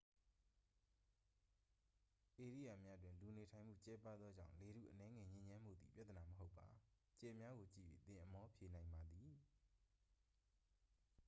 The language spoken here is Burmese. ဧရိယာများတွင် လူနေထိုင်မှုကျဲပါးသောကြောင့် လေထုအနည်းငယ်ညစ်ညမ်းမှုသည် ပြသနာမဟုတ်ပါ ကြယ်များကို ကြည့်၍ သင်အမောဖြေနိုင်ပါသည်